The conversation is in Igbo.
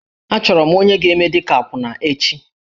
Achọrọ m onye ga-eme dị ka akwụna echi.